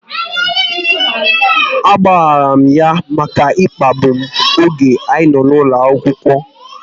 A gbaghara m ya maka ịkpagbu m oge anyị nọ n'ụlọ akwụkwọ